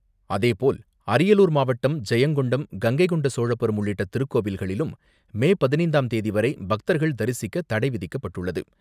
அதேபோல், அரியலூர் மாவட்டம், ஜெயங்கொண்டம் கங்கை கொண்ட சோழபுரம், உள்ளிட்ட திருக்கோவில்களிலும் மே பதினைந்தாம் தேதிவரை பக்தர்கள் தரிசிக்க தடை விதிக்கப்பட்டுள்ளது.